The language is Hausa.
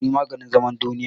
Haƙuri maganin zaman duniya